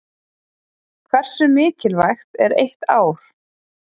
Hversu mikilvægt er eitt ár?